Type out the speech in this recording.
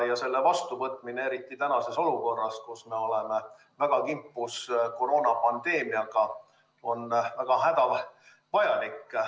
Ja selle vastuvõtmine, eriti tänases olukorras, kus me oleme väga kimpus koroonapandeemiaga, on väga hädavajalik.